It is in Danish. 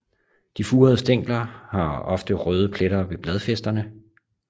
De furede stængler har ofte røde pletter ved bladfæsterne